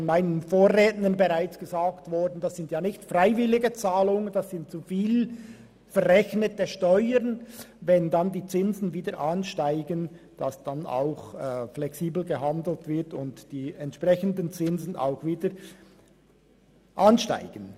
Von meinen Vorrednern ist gesagt worden, dass es sich hierbei nicht um freiwillige Zahlungen handelt, sondern um zu viel verrechnete Steuern.